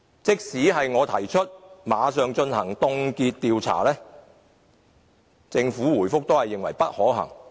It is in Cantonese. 即使我提出馬上凍結調查，政府在答覆中仍表示不可行。